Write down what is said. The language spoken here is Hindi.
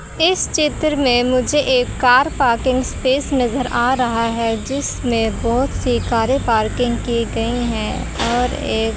इस चित्र में मुझे एक कार पार्किंग स्पेस नजर आ रहा है जिसमें बहोत सी कारे पार्किंग की गई है और एक--